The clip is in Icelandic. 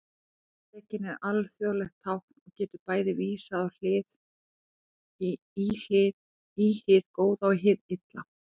Drekinn er alþjóðlegt tákn og getur bæði vísað í hið góða og hið illa.